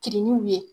Kirinw ye